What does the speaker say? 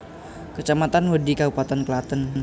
Kecamatan Wedhi Kabupaten Klaten